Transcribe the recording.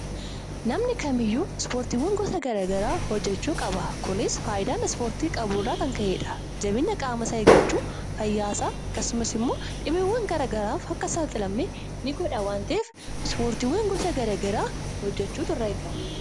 Namni kamiyyuu ispoortiiwwan gosa garaagaraa hojjechuu qaba. Kunis faayidaa ispoortiin qabu irraa kan ka'eedha. Jabeenya qaama isaa eeggachuuf, fayyaasaa akkasumas immoo dhibeewwan garaagaraaf akka hin saaxilamne ni godha waan ta'eef ispoortiiwwan gosa garaa garaa hojjechuutu irraa eegama.